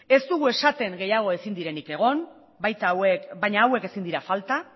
ez dugu esaten gehiago ezin direnik egon baina hauek ezin dira falta